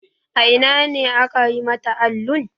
A ina ne aka yi mata allun?